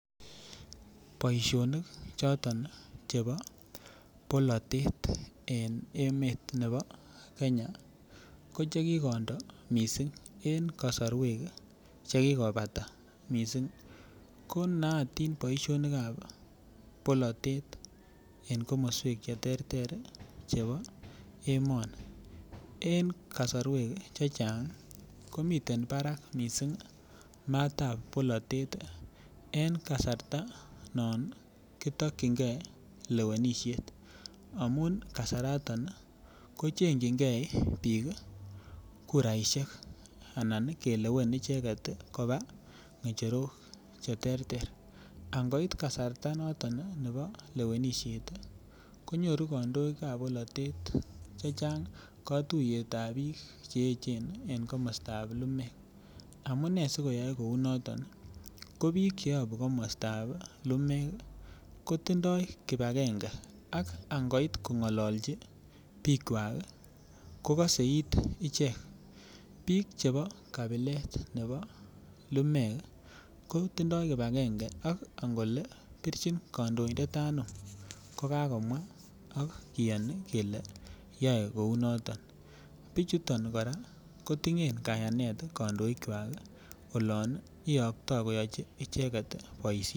Boishonik choton chebo bolotet en emet nebo Kenya ko chekikondo mising en kosorwek chekikobata mising ko nootin boishonikab bolotet en komoswek cheterter chebo emoni en kasarwek chechang komiten barak mising maatab bolotet en kasarta non kitokyinge lewenishet amun kasaraton ko chengyinge biik kuraishek anan kelewen icheket koba ngecherok cheterter, angoit kasarta noton nebo lewenishet konyoru kondoikab bolotet chechang kotuyetab biik che echen en komostab lumeek amune sikoyoe kounoton ko biik cheyobu komostab lumeek kotindoi kibakenge ak angoit kongololchi biikwak kokose iit ichek, biik chebo kabilet nebo lumeek kotindo kibakenge ak angole birchin kondointet anum ko kakomwa ak kiyoni kelee yoe kounoton, bichuton kora kotiyen kayanet kondoikwak olon iyokto koyochi icheket boishet.